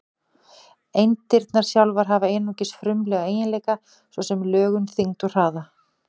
Eindirnar sjálfar hafa einungis frumlega eiginleika, svo sem lögun, þyngd og hraða.